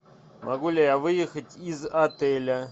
могу ли я выехать из отеля